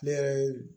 Ne yɛrɛ ye